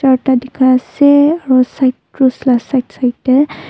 charda dekai ase aro cross la side side de.